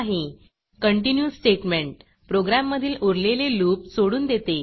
continue statement program मधील उरलेले loopलूप सोडून देते